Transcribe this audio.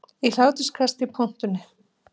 Í hláturskasti í pontunni